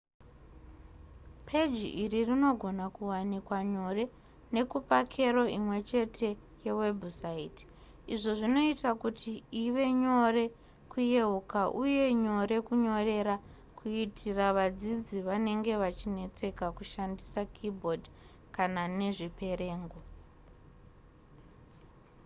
peji iri rinogona kuwanikwa nyore nekupa kero imwechete yewebhusaiti izvo zvinoita kuti ive nyore kuyeuka uye nyore kunyorera kuitira vadzidzi vanenge vachinetseka kushandisa keyboard kana nezviperengo